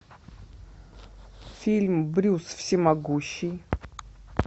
фильм брюс всемогущий